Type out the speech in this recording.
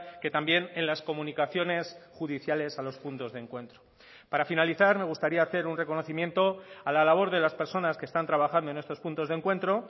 que también en las comunicaciones judiciales a los puntos de encuentro para finalizar me gustaría hacer un reconocimiento a la labor de las personas que están trabajando en estos puntos de encuentro